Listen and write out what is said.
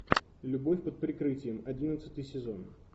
любовь под прикрытием одиннадцатый сезон